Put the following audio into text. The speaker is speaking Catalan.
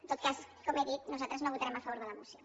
en tot cas com he dit nosaltres no votarem a favor de la moció